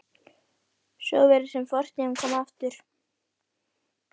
Fjórði bekkur var fortakslaust erfiðasti bekkur skólans.